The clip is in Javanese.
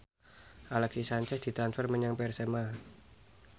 Alexis Sanchez ditransfer menyang Persema